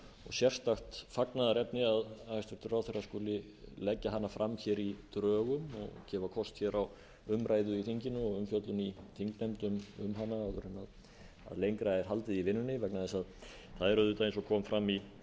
sérstakt fagnaðarefni að hæstvirtur ráðherra skuli leggja hana fram hér í drögum og gefa kost hér á umræðu í þinginu og umfjöllun í þingnefndum um hana áður en lengra er haldið í vinnunni vegna þess að það er auðvitað eins og kom fram